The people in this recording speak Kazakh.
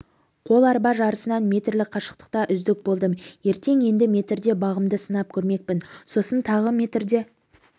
қол арба жарысынан метрлік қашықтықта үздік болдым ертең енді метрде бағымды сынап көрмекпін сосын тағы метрде